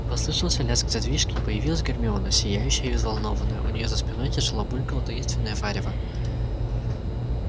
послышался лязг задвижки и появилась гермиона сияющая и взволнованная у неё за спиной тяжело булькало таинственное варево